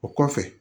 O kɔfɛ